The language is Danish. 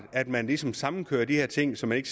at man ligesom sammenkører de her ting så man ikke